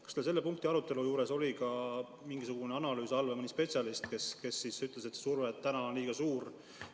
Kas teil selle punkti arutelu juures oli ka mingisugune analüüs, mõni spetsialist, kes ütles, et surve on liiga suur?